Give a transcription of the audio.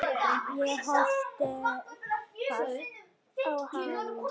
Ég horfði hvasst á hann.